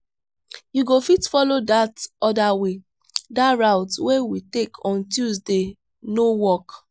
you go fit follow dat other way dat route wey we take on tuesday no work.